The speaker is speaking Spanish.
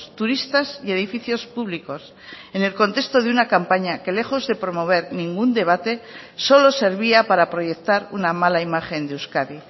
turistas y edificios públicos en el contexto de una campaña que lejos de promover ningún debate solo servía para proyectar una mala imagen de euskadi